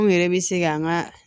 Anw yɛrɛ bɛ se k'an ka